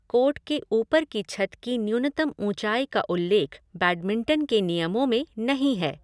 Court के ऊपर की छत की न्यूनतम ऊँचाई का उल्लेख बैडमिंटन के नियमों में नहीं है।